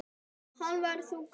Hann verður þungur.